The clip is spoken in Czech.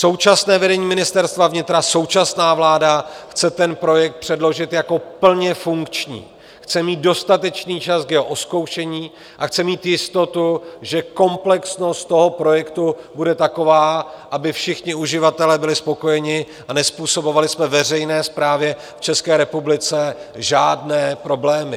Současné vedení Ministerstva vnitra, současná vláda chce ten projekt předložit jako plně funkční, chce mít dostatečný čas k jeho ozkoušení a chce mít jistotu, že komplexnost toho projektu bude taková, aby všichni uživatelé byli spokojeni a nezpůsobovali jsme veřejné správě v České republice žádné problémy.